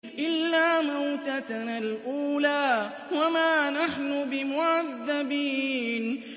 إِلَّا مَوْتَتَنَا الْأُولَىٰ وَمَا نَحْنُ بِمُعَذَّبِينَ